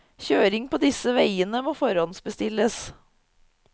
Kjøring på disse veiene må forhåndsbestilles.